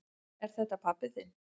Er þetta pabbi þinn?